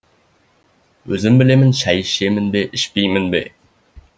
өзім білемін шай ішемін бе ішпеймін бе